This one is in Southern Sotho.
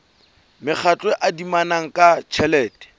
mekgatlo e adimanang ka tjhelete